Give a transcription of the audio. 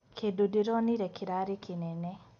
Kĩndũ ndĩronire kĩrarĩ kĩnene.